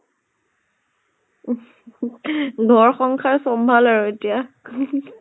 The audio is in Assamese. ঘৰ সংসাৰ চম্ভাল আৰু এতিয়া